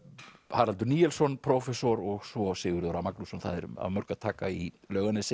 Haraldur Níelsson prófessor og svo Sigurður a Magnússon það er af mörgu að taka í Laugarnesi